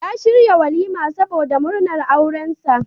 Ya shirya walima saboda murnar aurensa.